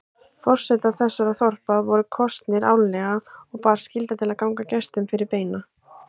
Forsetar þessara þorpa voru kosnir árlega og bar skylda til að ganga gestum fyrir beina.